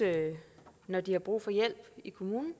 når de har brug for hjælp i kommunen